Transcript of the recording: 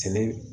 Sɛnɛ